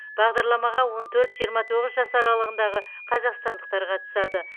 бағдарламаға он төрт жиырма тоғыз жас аралығындағы қазақстандықтар қатысады